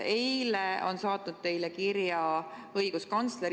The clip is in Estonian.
Eile on saatnud teile kirja õiguskantsler.